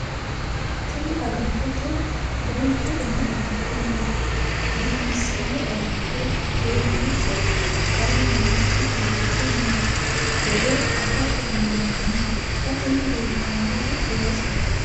tini agattote duuchu dani agatto no dimibissanno agatto keerancho qarru nooikki agatto noo gede afa dandiinanni xa tini leeltannoti juusete